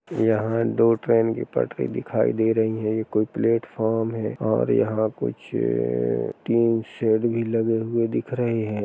यहां दो ट्रेन की पटरी दिखाई दे रही है। यह कोई प्लेटफार्म है और यहां कुछ अ- तीन शेड भी लगे हुए दिख रहे हैं।